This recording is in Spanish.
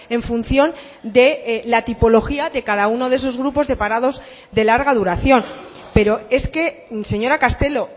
en función de la tipología de cada uno de esos grupos de parados de larga duración pero es que señora castelo